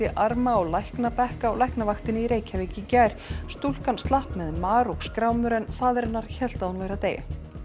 arma á á Læknavaktinni í Reykjavík í gær stúlkan slapp með mar og skrámur en faðir hennar hélt að hún væri að deyja